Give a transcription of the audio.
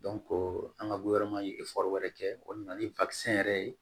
an ka ye wɛrɛ kɛ o de nana ni yɛrɛ ye